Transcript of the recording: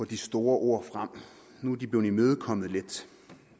de store ord frem nu er de blevet lidt imødekommet